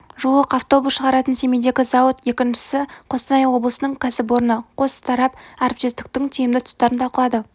жуық автобус шығаратын семейдегі зауыт екіншісі қостанай облысының кәсіпорыны қос тарап әріптестіктің тиімді тұстарын талқылады